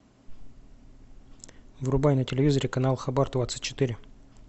врубай на телевизоре канал хабар двадцать четыре